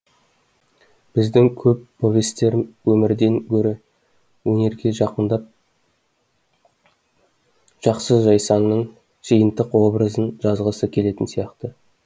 біздің көп повесьтер өмірден гөрі өнерге жақындап жақсы жайсаңның жиынтық образын жазғысы келетін сияқты